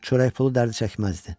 Çörək pulu dərdi çəkməzdi.